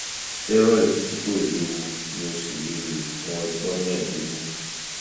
steroid tí kò léwu ni o sì lè lò ó fún ọjọ́ mẹ́ẹ̀dógún